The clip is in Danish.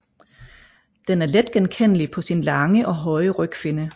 Den er let genkendelig på sin lange og høje rygfinne